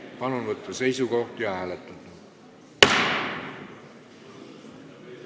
Palun võtta seisukoht ja hääletada!